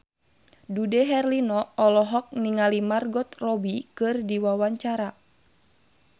Dude Herlino olohok ningali Margot Robbie keur diwawancara